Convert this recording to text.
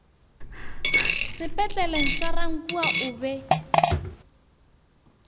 sepetleleng sa rankuwa o be